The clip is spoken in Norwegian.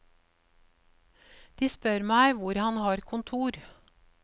De spør meg hvor han har kontor.